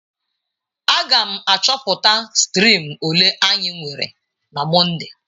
Aga m achọpụta striim ole anyị nwere na Mọnde.